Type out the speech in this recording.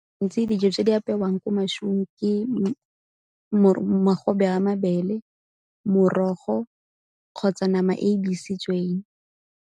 Ntsi dijo tse di apewang kwa masimong ke magobe a mabele, morogo kgotsa nama e e besitsweng.